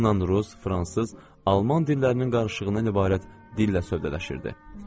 Onunla rus, fransız, alman dillərinin qarışığından ibarət dillə sövdələşirdi.